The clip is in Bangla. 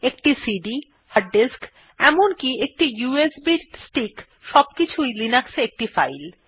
একটি সিডি হার্ড ডিস্ক এমনকি একটি ইউএসবি স্টিক সবকিছুই লিনাক্সে একটি ফাইল